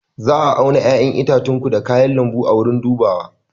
Za a auna 'ya'yan itacenku da kayan lambu a wurin dubawa